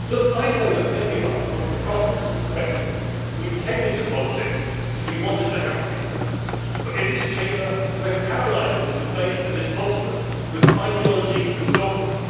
crisis. I know that many of us from across the political spectrum came into politics because we wanted to help people, but in this Chamber we are paralysed in this debate and this continent by ideology and